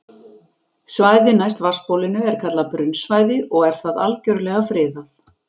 Svæðið næst vatnsbólinu er kallað brunnsvæði og er það algjörlega friðað.